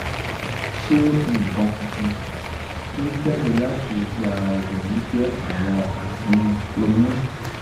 ṣé nkan funfun to n jade lati oju ara obirin je awon ami oyun